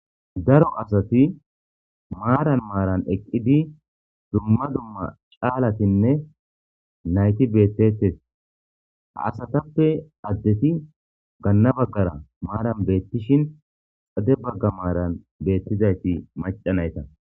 daro asati maaran maaran eqqidi dumma dumma caalatinne nayti beettetes ha asatappe addeti ganna baggara maaran beettishin xade bagga maaran beettizayti maca nayta